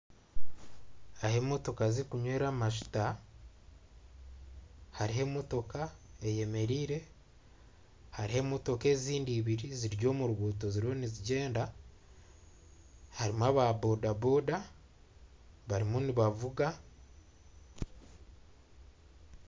Ahi emotoka zirikunywera amashuta hariho emotoka eyemereire hariho emotoka ezindi ibiri ziri omuruguto ziriho nizigyenda harimu aba boda boda barimu nibavuga .